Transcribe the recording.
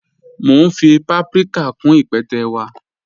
Mọ̀ n fí pàpríkà kún ípẹ̀tẹ́ wa.